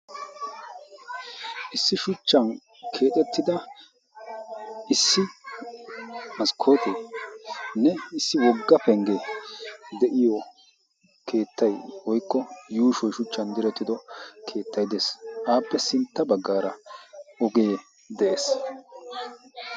issi shuchchan keexettida issi maskkooteenne issi wogga penggee de7iyo keettay woykko yuushoy shuchchan direttido keettay de7ees aappe sintta baggaara ogee de7ees